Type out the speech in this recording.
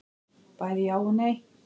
Bæði já og nei.